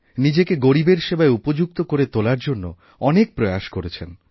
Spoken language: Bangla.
নিজেকে গরীবের সেবায় উপযুক্ত করে তোলার জন্য অনেক প্রয়াস করেছেন